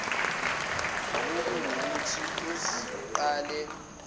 kungukuthi usuqale ukulala